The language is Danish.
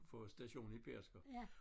For stationen i Pedersker